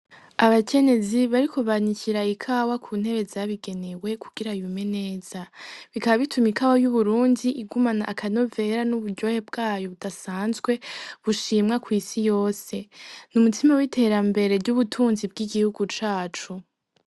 Abakenyezi bariko banikira ikawa kuntebe zabigenewe kugira yume neza, bikaba bituma ikawa y'uburundi igumana aka novera n'uburyohe bwayo budasanzwe bushimwa kwi'si yose, n'umutima w'iterambere ry'ubutunzi bw'igihugu cacu.